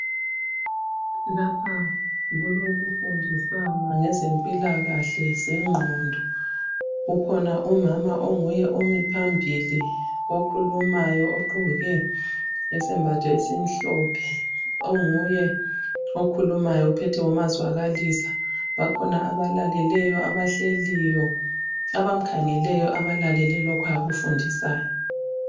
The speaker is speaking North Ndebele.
Lapha kulokufundisana ngezempilakahle zengqondo. Kukhona umama onguye omiphambili okhulumayo ogqoke isembatho esimhlophe. Onguye okhulumayo ophethe umazwakalisa. Bakhona abalaleleyo abahleliyo abamkhangeleyo abalalele lokho abakufundiswayo.